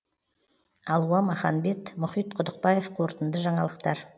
алуа маханбет мұхит құдықбаев қорытынды жаңалықтар